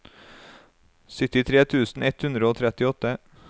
syttitre tusen ett hundre og trettiåtte